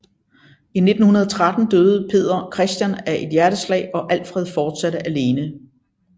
I 1913 døde Peder Christian af et hjerteslag og Alfred fortsatte alene